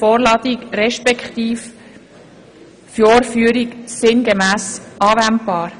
Vorladung respektive Vorführung sinngemäss anwendbar.